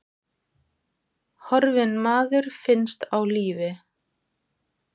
Horfinn maður finnst á lífi